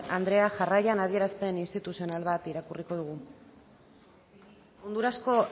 andrea jarraian adierazpen instituzional bat irakurriko dugu hondurasko